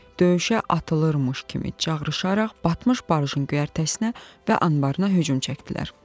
Döyüşə atılırmış kimi çağırışaraq batmış barjın göyərtəsinə və anbarına hücum çəkdilər.